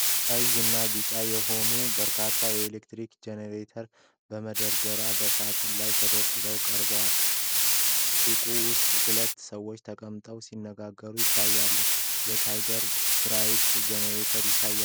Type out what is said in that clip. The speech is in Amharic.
ቀይና ቢጫ የሆኑ በርካታ የኤሌክትሪክ ጄኔሬተሮች በመደዳ በሳጥናቸው ላይ ተደራርበው ቀርበዋል። ሱቁ ውስጥ ሁለት ሰዎች ተቀምጠው ሲነጋገሩ፣ የተለያዩ የ"TIGER" ብራንድ ጄኔሬተሮች ይታያሉ።